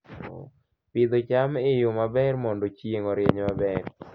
Pidho cham e yo maber mondo chieng' orieny maber